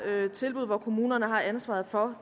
et tilbud hvor kommunerne har ansvaret for